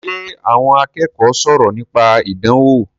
Ṣe àwọn akẹ́kọ̀ọ́ sọ̀rọ̀ nípa ìdánwò?